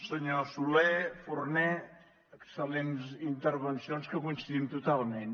senyor soler forné excellents intervencions que coincidim totalment